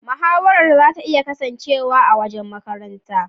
Mahawara zata iya kasancewa a wajen makaranta.